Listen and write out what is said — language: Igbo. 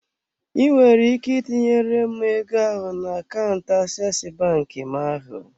I nwere ike tinyere m ego ahụ na akaụntụ aseesi bank m ahụ.